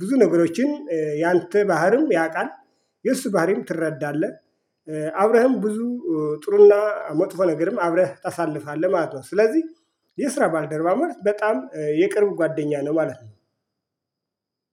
ብዙ ነገሮችን ያንተ ባህሪም ያውቃል። የእሱ ባህሪም ትረዳለህ። አብረህም ብዙ ጥሩና መጥፎ ነገርም አብረህ ታሳልፋለህ ማለት ነው። ስለዚህ የስራ ባልደረባ ማለት በጣም የቅርብ ጓደኛ ነው ማለት ነው